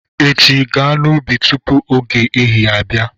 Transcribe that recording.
Echi, gaa n'ubi tupu oge ehihie abịa!